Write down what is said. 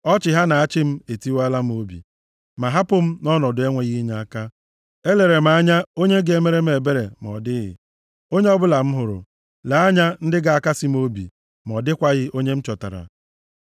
Ọchị ha na-achị m etiwaala m obi, ma hapụ m nʼọnọdụ enweghị inyeaka. Elere m anya onye ga-emere m ebere, ma ọ dịghị onye ọbụla m hụrụ; lee anya ndị ga-akasị m obi, ma ọ dịkwaghị onye m chọtara.